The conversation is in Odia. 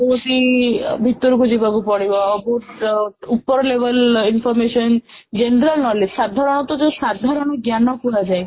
ବହୁତ ହି ଭିତରକୁ ଯିବାକୁ ପଡ଼ିବ ବହୁତ ଉପର label information general knowledge ସାଧାରଣତଃ ଯୋଉ ସାଧାରଣ ଜ୍ଞାନ କୁହାଯାଏ